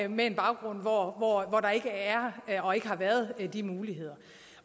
med en baggrund hvor hvor der ikke er og ikke har været de muligheder